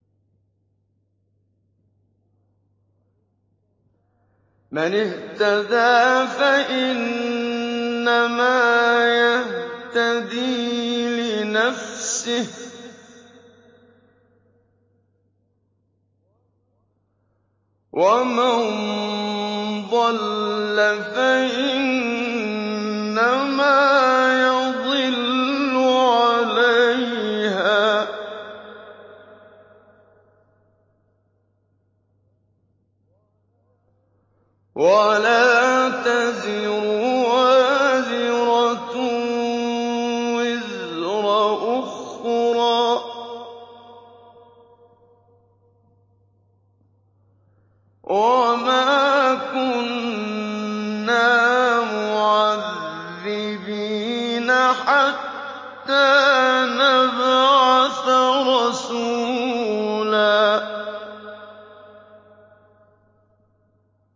مَّنِ اهْتَدَىٰ فَإِنَّمَا يَهْتَدِي لِنَفْسِهِ ۖ وَمَن ضَلَّ فَإِنَّمَا يَضِلُّ عَلَيْهَا ۚ وَلَا تَزِرُ وَازِرَةٌ وِزْرَ أُخْرَىٰ ۗ وَمَا كُنَّا مُعَذِّبِينَ حَتَّىٰ نَبْعَثَ رَسُولًا